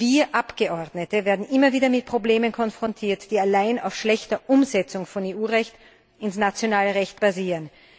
Wir Abgeordnete werden immer wieder mit Problemen konfrontiert, die allein auf der schlechten Umsetzung von EU Recht in nationales Recht basieren.